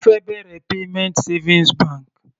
Ó fẹ́ bẹ̀rẹ̀ payment savings bank.